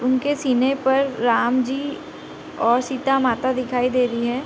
उनके सीने पर राम जी और सीता माता दिखाई दे रही है।